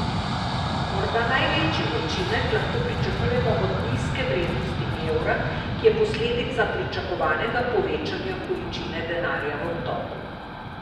Morda največji učinek lahko pričakujemo od nizke vrednosti evra, ki je posledica pričakovanega povečanja količine denarja v obtoku.